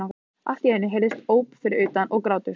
Allt í einu heyrðust óp fyrir utan- og grátur.